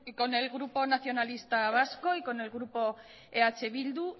con el grupo nacionalista vasco y con el grupo eh bildu